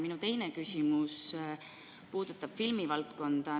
Minu teine küsimus puudutab filmivaldkonda.